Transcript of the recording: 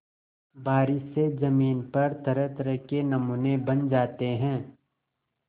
बारिश से ज़मीन पर तरहतरह के नमूने बन जाते हैं